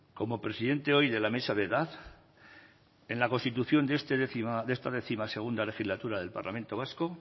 como presidente hoy de la mesa de edad en la constitución de esta décimosegunda legislatura del parlamento vasco